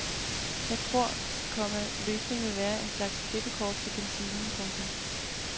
Jeg tror, komma løsningen ville være en slags klippekort til kantinen. punktum